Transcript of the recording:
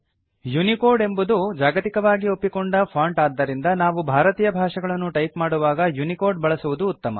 Unicode ಎಂಬುದು ಜಾಗತಿಕವಾಗಿ ಒಪ್ಪಿಕೊಂಡ ಫಾಂಟ್ ಆದ್ದರಿಂದ ನಾವು ಭಾರತೀಯ ಭಾಷೆಗಳನ್ನು ಟೈಪ್ ಮಾಡುವಾಗ ಯುನಿಕೋಡ್ ಬಳಸುವುದು ಉತ್ತಮ